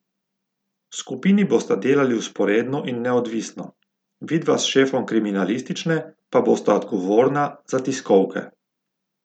Skupini bosta delali vzporedno in neodvisno, vidva s šefom kriminalistične pa bosta odgovorna za tiskovke.